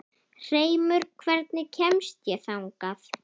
Hreimur, hvernig kemst ég þangað?